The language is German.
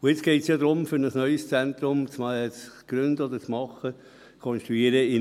Und jetzt geht es ja darum, in Münchenbuchsee ein neues Zentrum zu machen oder zu konstruieren.